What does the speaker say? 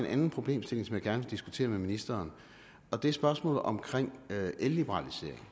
en anden problemstilling som jeg gerne vil diskutere med ministeren det er spørgsmålet om elliberalisering